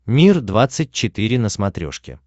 мир двадцать четыре на смотрешке